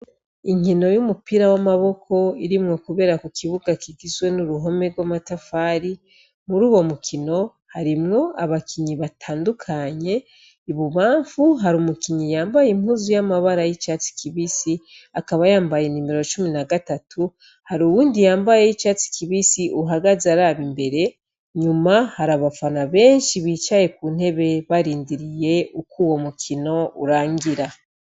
Inkino y'umupira w' amaboko, iri kuber' ahantu munzu yagutse nini can' isakaye, abakinyi bambay' imyambaro y' amabar' atandukanye, bamwe bambay' iyisa n' icatsi kibisi, abandi bambay' iyera niyirabura, inyuma y' ikibug' abantu bicaye ku ntebe, har' abantu benshi bambay' imipira y' ubururu niyitukura bariko bararorer' urukino, inyuma har' uruhome rusakajwe n' amatafari n' inkingi zera , ku mfuruka y' iburyo harabonek' itara ryaka cane rimurikir' ikibuga.